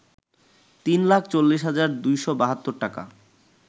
৩ লাখ ৪০ হাজার ২৭২ টাকা